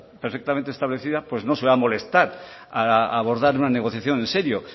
perfectamente establecida pues no se va a molestar a abordar una negociación en serio